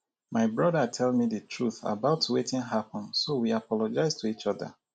my brother tell me the truth about wetin happen so we apologize to each other